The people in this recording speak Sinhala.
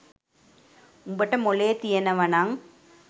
උඹට මොළේ තියෙනවනං